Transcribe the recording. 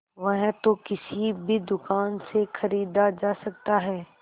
वह तो किसी भी दुकान से खरीदा जा सकता है